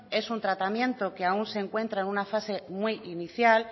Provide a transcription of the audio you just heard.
es un tratamiento que aún se encuentra en una fase muy inicial